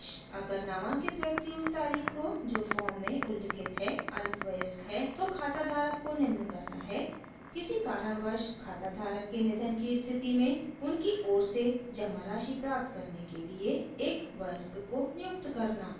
अगर नामांकित व्यक्ति उस तारीख़ को जो फॉर्म में उल्लिखित है अल्पवयस्क है तो खाता धारक को निम्न करना है